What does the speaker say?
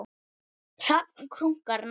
Hrafn krunkar nærri.